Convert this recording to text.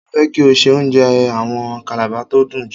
Mo fẹ́ kí o se oúnjẹ àwọn Kàlàba tó dùn jù.